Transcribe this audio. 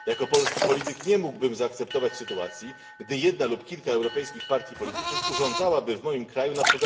Jako polski polityk nie mógłbym zaakceptować sytuacji, gdy jedna lub kilka europejskich partii politycznych urządzałaby w moim kraju np.